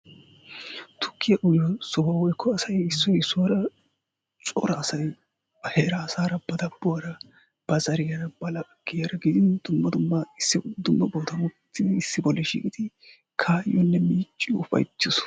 Tukkiya uyiyo sohuwa woykko asay issoy issuwara cora asay ba heeraa asaara ba dabuwaara ba zariyaara ba laggiyaara gidin dummma dumma dumma bootan uttidi issi bolla shiiqqidi miicciyonne ufayttiyo soho.